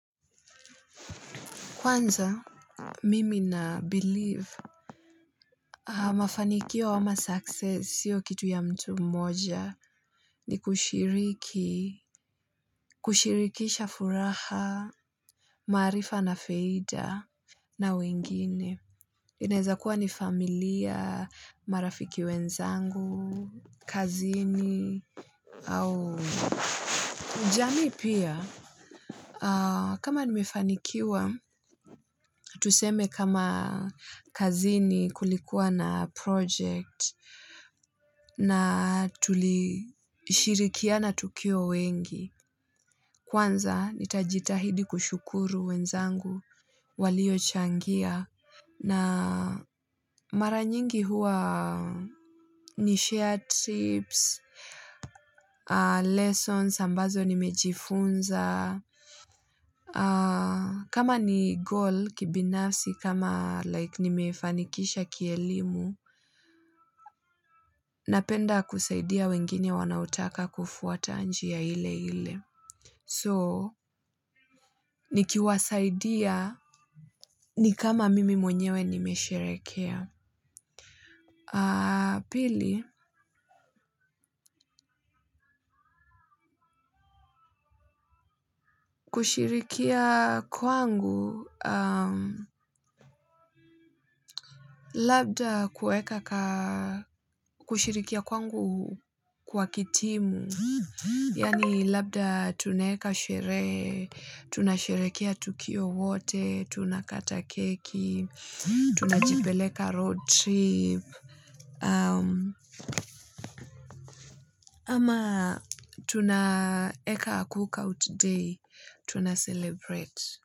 Kwanza, mimi na Believe mafanikio ama success siyo kitu ya mtu mmoja ni kushiriki, kushirikisha furaha, maarifa na faida na wengine. Inaeza kuwa ni familia, marafiki wenzangu, kazini, au jamii pia. Kama nimefanikiwa, tuseme kama kazini kulikuwa na project na tulishirikiana na tukiwa wengi. Kwanza nitajitahidi kushukuru wenzangu walio changia na maranyingi huwa na share tips, lessons, ambazo nimejifunza, kama ni goal kibinafsi, kama like nimefanikisha kielimu, napenda kusaidia wengine wanaotaka kufuata njia ile ile. So, nikiwasaidia ni kama mimi mwenyewe nimesherekea. Pili, kushirikia kwangu, labda kueka kushirikia kwangu kwa kitimu. Yani labda tunaeka sherehe, tunasherekea tukio wote, tunakata keki, tunajipeleka road trip. Ama tunaeka cookout day, tuna celebrate.